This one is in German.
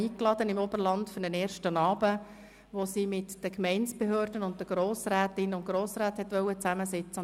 Sie hat heute Abend zu einem ersten Abend eingeladen, an welchen sie sich mit Gemeindebehörden sowie Grossrätinnen und Grossräten hätte treffen wollen.